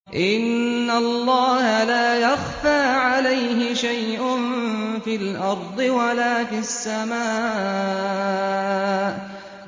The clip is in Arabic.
إِنَّ اللَّهَ لَا يَخْفَىٰ عَلَيْهِ شَيْءٌ فِي الْأَرْضِ وَلَا فِي السَّمَاءِ